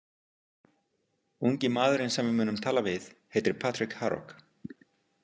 Ungi maðurinn sem við munum tala við heitir Patrik Harok.